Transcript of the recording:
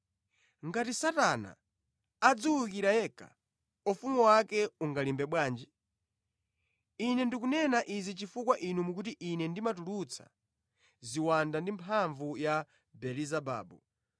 Ngati Satana adziwukira yekha, ufumu wake ungalimbe bwanji? Ine ndikunena izi chifukwa inu mukuti Ine ndimatulutsa ziwanda ndi mphamvu ya Belezebabu.